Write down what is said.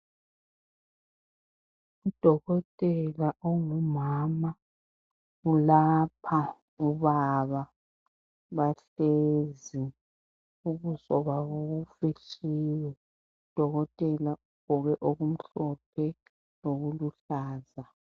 UDokotela ongumama ulapha ubaba bahlezi, ubuso babo bufihliwe uDokotela ugqoke okumhlophe lokuluhlaza.